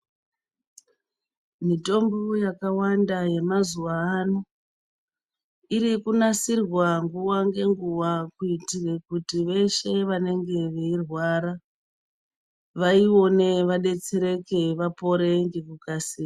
Mitombo yakawanda yemazuva ano iri kunasirwa nguwa ngenguwa kuitira kuti weshe anenge eirwara vaone vadetsereke vapore nekukasira.